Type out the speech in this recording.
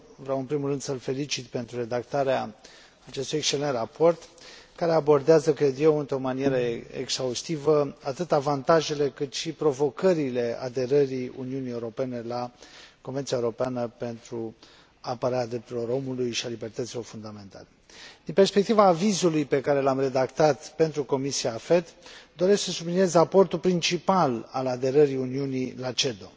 Vreau în primul rând să îl felicit pentru redactarea acestui excelent raport care abordează, cred eu, într o manieră exhaustivă atât avantajele, cât și provocările aderării Uniunii Europene la Convenția europeană pentru apărarea drepturilor omului și a libertăților fundamentale. Din perspectiva avizului pe care l am redactat pentru Comisia AFET, doresc să subliniez aportul principal al aderării Uniunii la CEDO.